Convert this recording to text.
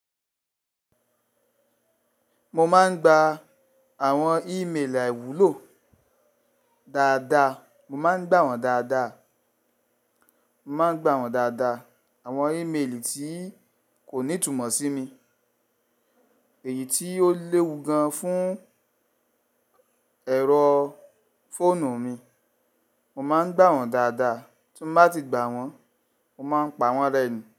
Mo máa ń gba àwọn ímeèlì àìwúlò dáadáa. Mo máa ń gbà wọ́n dáadáa. Mo má ń gbà wọ́n dáadáa. Àwọn ímeèlì tí kò ní túmọ̀ sí mi, èyí tí ó léwu gan fún ẹ̀rọ fóònù mi, mo máa ń gbà wọ́n dáadáa. Tí mo bá ti gbà wọ́n, mo máa ń pa wọ́n rẹ́ni.